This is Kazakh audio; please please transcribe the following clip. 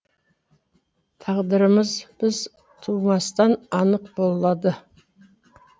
тағдырырымыз біз туылмастан анық болады